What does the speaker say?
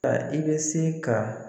A i bɛ se ka